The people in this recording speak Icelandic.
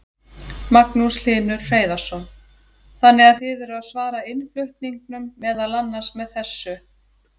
Magnús Hlynur Hreiðarsson: Þannig að þið eruð að svara innflutningnum meðal annars með þessu?